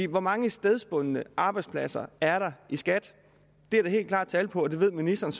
hvor mange stedbundne arbejdspladser er der i skat det er der helt klart tal på og det ved ministeren